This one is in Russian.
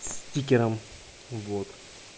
стикером вот